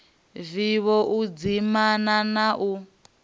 vivho u dzimana na u